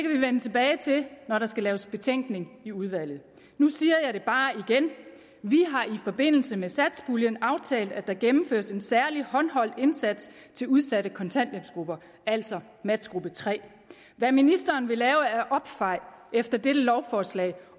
vi vende tilbage til når der skal laves betænkning i udvalget nu siger jeg det bare igen vi har i forbindelse med satspuljen aftalt at der gennemføres en særlig håndholdt indsats til udsatte kontanthjælpsgrupper altså matchgruppe tredje hvad ministeren vil lave af opfejning efter dette lovforslag